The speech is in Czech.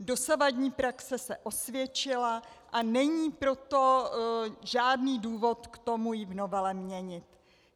Dosavadní praxe se osvědčila, a není proto žádný důvod k tomu ji v novele měnit.